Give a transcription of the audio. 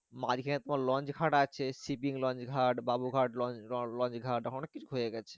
মাঝখানে তোমার launch ঘাট আছে shipping launch ঘাট বাবু ঘাট launch ঘাট অনেক কিছু হয়ে গেছে।